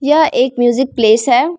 यह एक music place है।